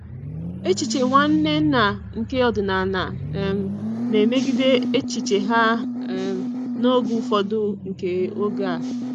Echiche Nwanne nna nke ọdịnala um na-emegide echiche ha um n'oge ufọdu nke oge a.